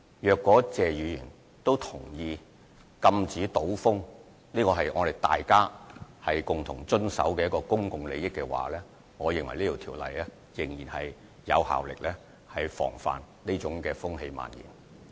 如果謝議員也同意禁止賭風是大家共同維護公共利益，我認為《賭博條例》仍然有效防範這種風氣蔓延。